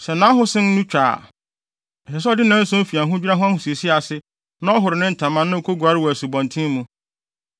“ ‘Sɛ nʼahosen no twa a, ɛsɛ sɛ ɔde nnanson fi ahodwira ho ahosiesie ase na ɔhoro ne ntama na okoguare wɔ asubɔnten mu.